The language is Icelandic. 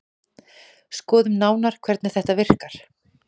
Skoðum nánar hvernig þetta virkar.